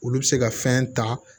Olu bɛ se ka fɛn ta